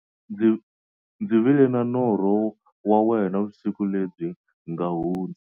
Ndzi vile na norho wa wena vusiku lebyi nga hundza.